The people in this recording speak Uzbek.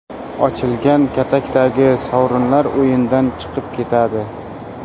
Ochilgan katakdagi sovrinlar o‘yindan chiqib ketadi.